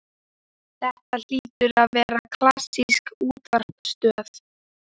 Þetta hlýtur að vera klassísk útvarpsstöð.